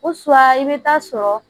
i bɛ taa sɔrɔ